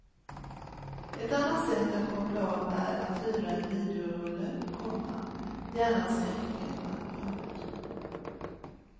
Ett annat sätt att koppla av är att hyra en videorulle, komma gärna skräckfilmer. punkt